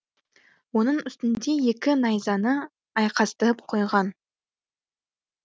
оның үстінде екі найзаны айқастырып қойған